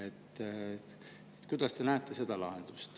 Millist lahendust te näete?